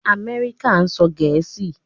Amẹrika sọ Gẹẹsi